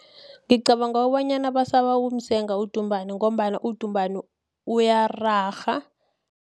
Ngicabanga kobonyana basaba ukumsenga udumbane, ngombana udumbane uyararha.